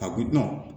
Ka kulon